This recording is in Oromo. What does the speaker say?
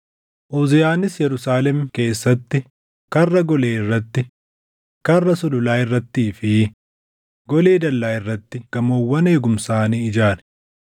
Uziyaanis Yerusaalem keessatti Karra Golee irratti, Karra sululaa irrattii fi golee dallaa irratti gamoowwan eegumsaa ni ijaare.